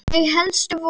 Þau helstu voru